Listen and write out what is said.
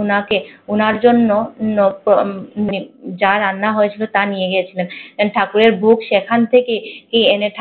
উনাকে উনার জন্য মানে যা রান্না হয়েছিল তা নিয়ে গিয়েছিলেন আর ঠাকুরের ভোগ সেখান থেকেই